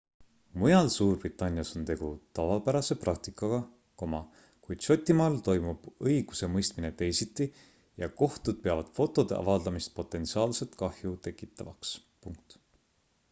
mujal suurbritannias on tegu tavapärase praktikaga kuid šotimaal toimib õigusemõistmine teisiti ja kohtud peavad fotode avaldamist potentsiaalset kahju tekitavaks